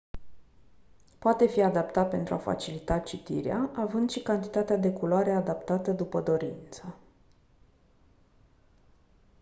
poate fi adaptat pentru a facilita citirea având și cantitatea de culoare adaptată după dorință